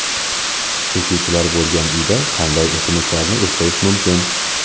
Chekuvchilar bo‘lgan uyda qanday o‘simliklarni o‘stirish mumkin?.